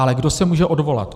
Ale kdo se může odvolat?